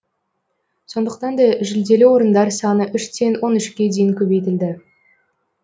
сондықтан да жүлделі орындар саны үштен он үшке дейін көбейтілді